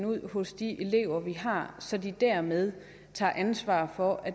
ud hos de elever de har så de dermed tager ansvaret for at